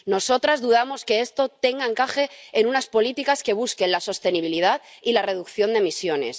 Nosotras dudamos que esto tenga encaje en unas políticas que busquen la sostenibilidad y la reducción de emisiones.